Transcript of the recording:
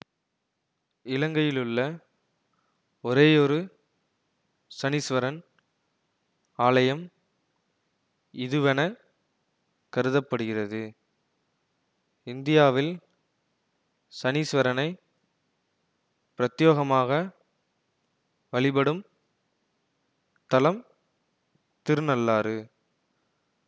இலங்கையிலுள்ள ஒரேயொரு சனீஸ்வரன் ஆலயம் இதுவெனக் கருத படுகிறது இந்தியாவில் சனீஸ்வரனை பிரத்தியோகமாக வழிபடும் தலம் திருநள்ளாறு